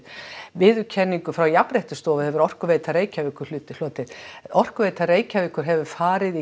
viðurkenningu frá Jafnréttisstofu hefur Orkuveita Reykjavíkur hlotið hlotið Orkuveita Reykjavíkur hefur farið í